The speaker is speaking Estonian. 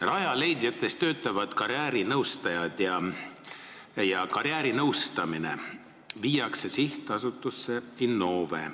Rajaleidja keskustes töötavad karjäärinõustajad ja karjäärinõustamine viiakse üle Sihtasutusse Innove.